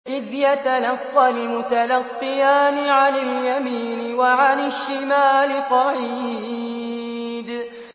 إِذْ يَتَلَقَّى الْمُتَلَقِّيَانِ عَنِ الْيَمِينِ وَعَنِ الشِّمَالِ قَعِيدٌ